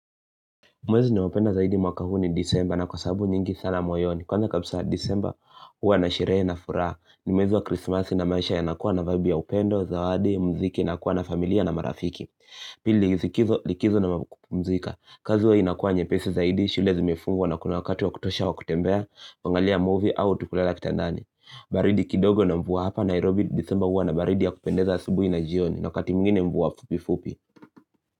Mwezi ninaopenda zaidi mwaka huu ni disemba na kwasabu nyingi sana moyoni. Kwanza kabisa disemba huwa na sherehe na furaha. Ni mwezi wa krismasi na maisha ya nakuwa na vaibi ya upendo, zawadi, mziki na kuwa na familia na marafiki. Pili likizo na wakupumzika. Kazi huwa inakuwa nyepesi zaidi, shule zimefungwa na kuna wakati wa kutosha wa kutembea, kuangalia movie au tu kulala kitandani. Baridi kidogo na mvua hapa Nairobi disemba huwa na baridi ya kupendeza asubui na jioni. Wakati wingine mvua fupi fupi.